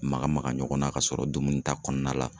Maka maka ɲɔgɔn na ka sɔrɔ dumuni ta kɔnɔna la